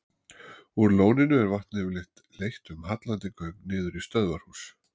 Úr lóninu er vatnið yfirleitt leitt um hallandi göng niður í stöðvarhús.